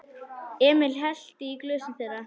Emil hellti í glösin þeirra.